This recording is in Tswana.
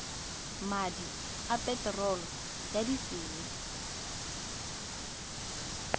madi a peterolo ya disele